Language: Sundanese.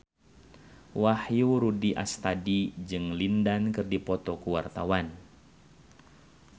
Wahyu Rudi Astadi jeung Lin Dan keur dipoto ku wartawan